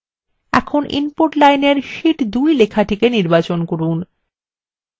এখন input line sheet 2 লেখাটি নির্বাচন করুন